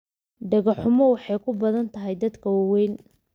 Dhago xumo waxay ku badan tahay dadka waaweyn.